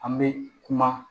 An bɛ kuma